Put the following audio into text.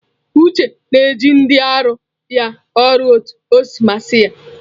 Uche na-eji ndị na arụ ya ọrụ otu ọ si masị ya.